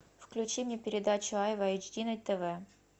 включи мне передачу айва эйч ди на тв